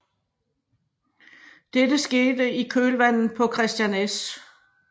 Dette skete i kølvandet på Christian S